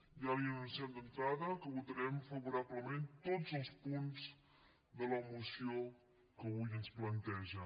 ja li anunciem d’entrada que votarem favorablement tots els punts de la moció que avui ens planteja